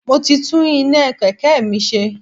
Mo ti tún iná Kẹ̀kẹ́ mi ṣe.